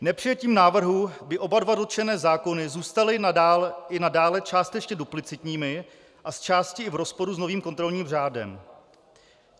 Nepřijetím návrhu by oba dva dotčené zákony zůstaly i nadále částečně duplicitními a zčásti i v rozporu s novým kontrolním řádem.